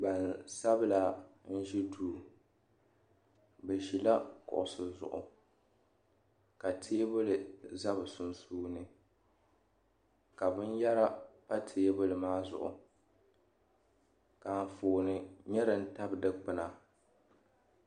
Gbansabila n ʒi duu bɛ zila kuɣusi zuɣu ka teebuli za bɛ sunsuuni ka binyera pa teebuli maa zuɣu ka anfooni nyɛ din tabi dikpina.